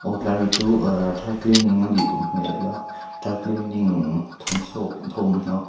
aw hetlai mi chu ehh dry cleaning anih duh hmel a dry cleaning thawmsaw thawm hnaw --